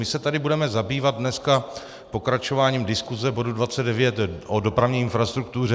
My se tady budeme zabývat dneska pokračováním diskuse bodu 29 o dopravní infrastruktuře.